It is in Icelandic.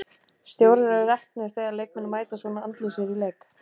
Stjórar eru reknir þegar leikmenn mæta svona andlausir í leik.